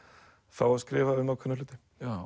fá að skrifa um ákveðna hluti